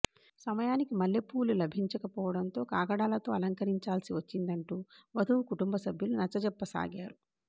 సమయానికి మల్లెపువ్వులు లభించకపోవడంతో కాగడాలతో అలంకరించాల్సివచ్చిందంటూ వధువు కుటుంబ సభ్యులు నచ్చచెప్పసాగారు